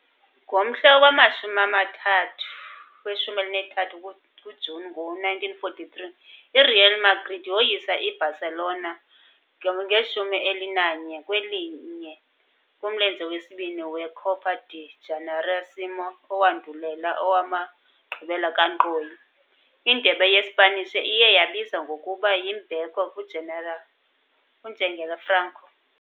Ngomhla we-13 kuJuni ngo-1943, iReal Madrid yoyisa i-Barcelona 11-1 kumlenze wesibini we- Copa del Generalísimo owandulela owamagqibela kankqoyi, iNdebe yeSpanish iye yabizwa ngokuba yimbeko kuNjengele Franco.